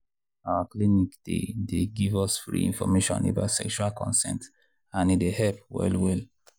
our clinic dey dey give us free information about sexual consent and e dey help well well.